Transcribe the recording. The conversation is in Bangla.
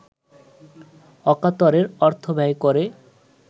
অকাতরে অর্থব্যয় করে